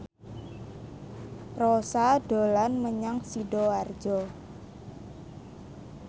Rossa dolan menyang Sidoarjo